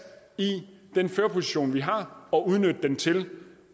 i den førerposition vi har og udnytte den til